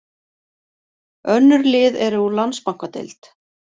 Önnur lið eru úr Landsbankadeild.